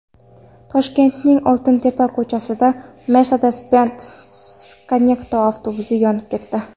Toshkentning Oltintepa ko‘chasida Mercedes-Benz Conecto avtobusi yonib ketdi .